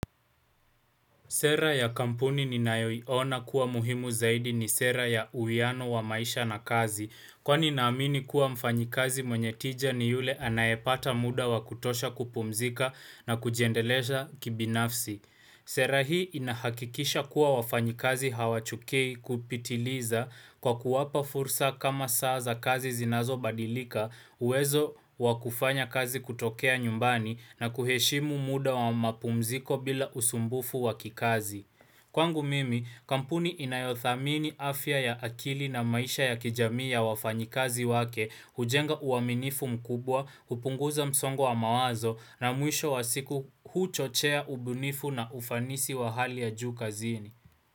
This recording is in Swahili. Sera ya kampuni ninayoiona kuwa muhimu zaidi ni sera ya uwiano wa maisha na kazi, kwa ninaamini kuwa mfanyikazi mwenye tija ni yule anayepata muda wakutosha kupumzika na kujiendelesha kibinafsi. Sera hii inahakikisha kuwa wafanyikazi hawachukii kupitiliza kwa kuwapa fursa kama saa za kazi zinazobadilika, uwezo wakufanya kazi kutokea nyumbani na kuheshimu muda wa mapumziko bila usumbufu wakikazi. Kwangu mimi, kampuni inayothamini afya ya akili na maisha ya kijamii ya wafanyikazi wake, hujenga uaminifu mkubwa, hupunguza msongo wa mawazo na mwisho wa siku huchochea ubunifu na ufanisi wa hali ya juu kazini.